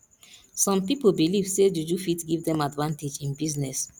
some pipo believe say juju fit give dem advantage in business